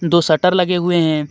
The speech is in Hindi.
दो शटर लगे हुए हैं.